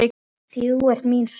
Þú ert mín sól.